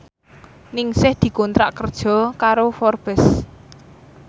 Ningsih dikontrak kerja karo Forbes